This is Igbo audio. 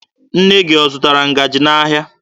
Nne gị ọ zụtara ngaji n'ahịa?